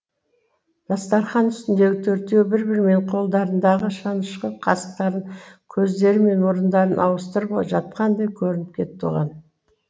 дастархан үстіндегі төртеуі бір бірімен қолдарындағы шанышқы қасықтарын көздері мен мұрындарын ауыстырып жатқандай көрініп кетті оған